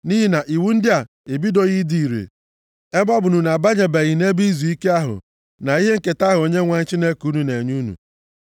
nʼihi na iwu ndị a ebidobeghị ịdị ire, ebe ọ bụ na unu abanyebeghị nʼebe izuike ahụ, na ihe nketa ahụ Onyenwe anyị Chineke unu na-enye unu.